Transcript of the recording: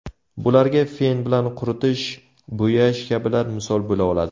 Bularga fen bilan quritish, bo‘yash kabilar misol bo‘la oladi.